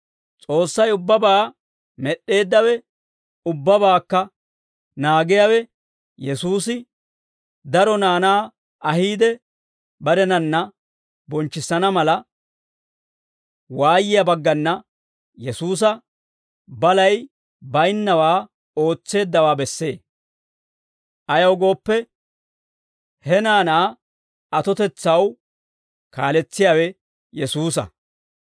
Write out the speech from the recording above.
S'oossay ubbabaa med'd'eeddawe, ubbabaakka naagiyawe, Yesuusi daro naanaa ahiide, barenanna bonchchissana mala, waayiyaa baggana Yesuusa balay baynnawaa ootseeddawaa bessee; ayaw gooppe, he naanaa atotetsaw kaaletsiyaawe Yesuusa.